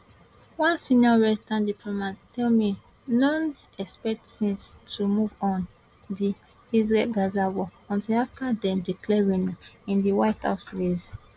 one senior western diplomat tell me noone expect tins to move on the israelgaza war until afta dem declare winner in di white house race